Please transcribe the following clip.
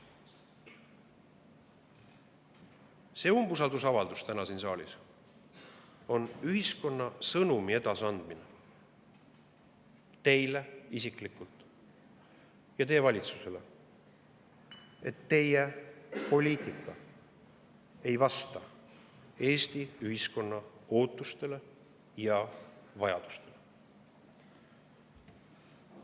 See umbusaldusavaldus täna siin saalis on ühiskonna sõnumi edasiandmine teile isiklikult ja teie valitsusele: teie poliitika ei vasta Eesti ühiskonna ootustele ja vajadustele.